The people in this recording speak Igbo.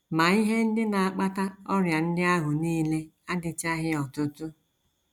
Ma ihe ndị na - akpata ọrịa ndị ahụ nile adịchaghị ọtụtụ.